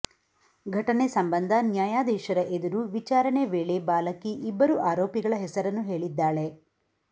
ಘಟನೆ ಸಂಬಂಧ ನ್ಯಾಯಾಧೀಶರ ಎದುರು ವಿಚಾರಣೆ ವೇಳೆ ಬಾಲಕಿ ಇಬ್ಬರು ಆರೋಪಿಗಳ ಹೆಸರನ್ನು ಹೇಳಿದ್ದಾಳೆ